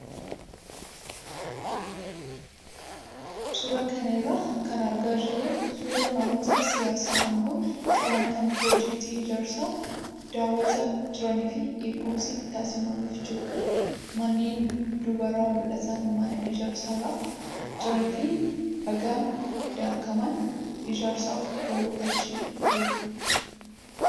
Suuraa kana irraa kan argaa jirru suuraa namoota siyaasaa aangoo qaban kan piroojeektii ijaarsaa daawwataa jiranii fi eegumsi taasifamaafii jirudha. Manneen duubarraa mul'atan mana ijaarsarra jiranii fi dhagaan daakamaan ijaarsaaf oolu achi jirudha.